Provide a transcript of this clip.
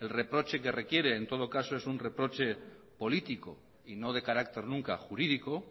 el reproche que requiere en todo caso es un reproche político y no de carácter nunca jurídico